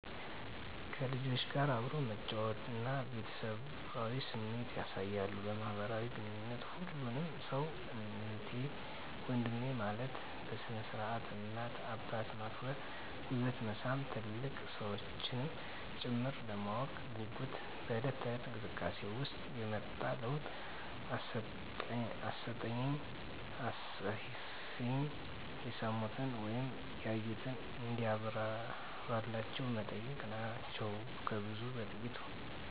ከልጆች ጋር አብሮ መጫወት እና ቤተሰባዊ ስሜት ያሣያሉ። በማህበራዊ ግንኙነት ሁሉን ሠው እህቴ ወንድሜ ማለት፤ በስነ-ስርዓት እናት አባት ማክበር ጉልበት መሣም ትልልቅ ሠዎችንም ጭምር፤ ለማወቅ ጉጉት (በለት ተለት)እንቅስቃሴ ውሰጥ የመጣ ለውጥ አስጠኝኝ፣ አስፅፊኝ፣ የሠሙትን ወይም ያዩትን እንዲብራራላቸው መጠየቅ ናቸው ከብዙ በጥቂት።